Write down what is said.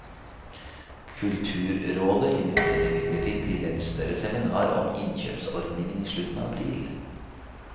Kulturrådet inviterer imidlertid til et større seminar om innkjøpsordningen i slutten av april.